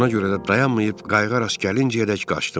Buna görə də dayanmayıb qayıqə rast gəlincəyədək qaçdım.